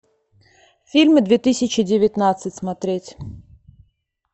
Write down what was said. фильмы две тысячи девятнадцать смотреть